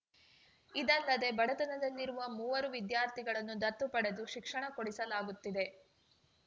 ಇದಲ್ಲದೆ ಬಡತನದಲ್ಲಿರುವ ಮೂವರು ವಿದ್ಯಾರ್ಥಿಗಳನ್ನು ದತ್ತು ಪಡೆದು ಶಿಕ್ಷಣ ಕೊಡಿಸಲಾಗುತ್ತಿದೆ